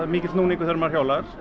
er mikill núningur þegar maður hjólar